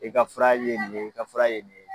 E ka fura ye nin ye i ka fura ye nin ye.